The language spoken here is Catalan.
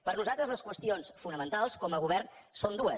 per nosaltres les qüestions fonamentals com a govern són dues